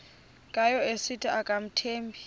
ngayo esithi akamthembi